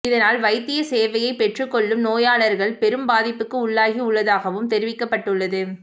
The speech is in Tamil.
இதனால் வைத்திய சேவையை பெற்றுக் கொள்ளும் நோயாளர்கள் பெரும் பாதிப்புக்கு உள்ளாகி உள்ளதாகவும் தெரிவிக்கப்பட்டுள்ளது